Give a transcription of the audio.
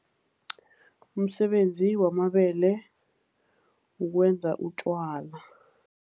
Umsebenzi wamabele kukwenza utjwala.